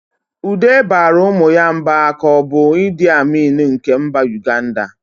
Ude baara ụmụ ya mba ka ọ bụ Idi Amin nke mba Uganda.